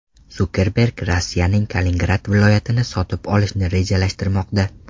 Sukerberg Rossiyaning Kaliningrad viloyatini sotib olishni rejalashtirmoqda.